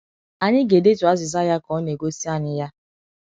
Anyị ga - edetu azịza ya ka ọ na - egosi anyị ya.